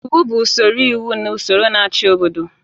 Iwu bụ usoro iwu na ụsọrọ na-achị obodo.